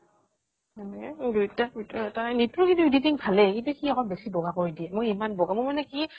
সেনেকে কৈ দুইটা দুইটাৰ ভিতৰত এটা । নিতু ৰ কিন্তু editing ভালেই কিন্তু সি আকৌ বেছি বগা কৰি দিয়ে, মই এমান বগা , মই মানে কি